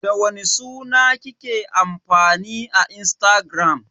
Da wani suna kike amfani a Instagram?